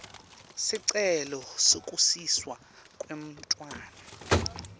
sicelo sekusiswa kwemntfwana